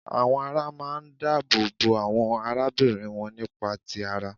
Àwọn ará máa ń dáàbò bo àwọn arábìnrin wọn nípa ti ara